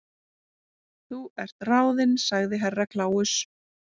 Þú ert ráðin sagði Herra Kláus.